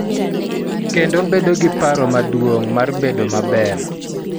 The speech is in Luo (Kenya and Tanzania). Kendo bedo gi paro maduong� mar bedo maber.